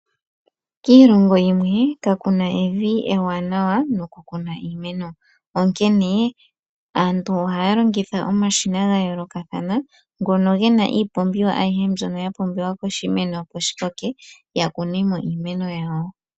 Kiilongo yimwe kakuna evi ewanawa noku kuna iimeno, onkene aantu ohaya longitha omashina ga yoolokathana ngono gena iipumbiwa ayihe mbyono ya pumbiwa koshimeno opo shi koke, ya kunemo iimeno yawo.